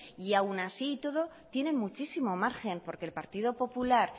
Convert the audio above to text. y aun así y todo tienen muchísimo margen porque el partido popular